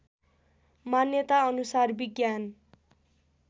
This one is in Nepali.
मान्यता अनुसार विज्ञान